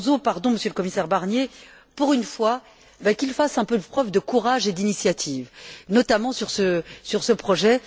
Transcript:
Barroso pardon Monsieur le commissaire Barnier pour une fois, qu'il fasse un peu preuve de courage et d'initiative, notamment sur ce projet!